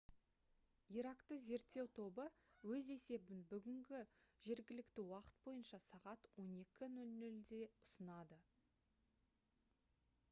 иракты зерттеу тобы өз есебін бүгін gmt бойынша сағат 12:00-де ұсынады